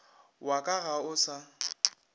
wa ka ga o sa